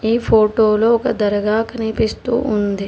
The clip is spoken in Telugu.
ఈ ఫోటోలో ఒక దర్గా కనిపిస్తూ ఉంది.